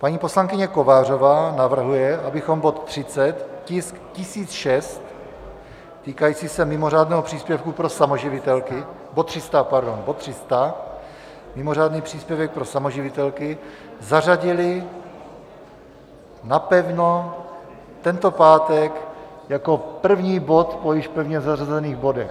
Paní poslankyně Kovářová navrhuje, abychom bod 30, tisk 1006, týkající se mimořádného příspěvku pro samoživitelky, bod 300, pardon, bod 300, mimořádný příspěvek pro samoživitelky, zařadili napevno tento pátek jako první bod po již pevně zařazených bodech.